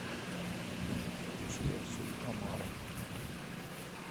включи расул омаров